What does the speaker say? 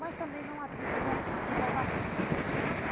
Mas também não atribui a quem, diz a barragem.